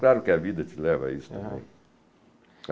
Claro que a vida te leva a isso também. arram